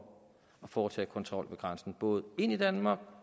at foretage kontrol ved grænsen både ind i danmark